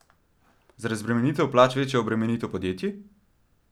Za razbremenitev plač večja obremenitev podjetij?